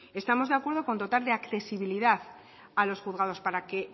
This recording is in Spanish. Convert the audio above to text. estamos de acuerdo con dotar de accesibilidad a los juzgados para que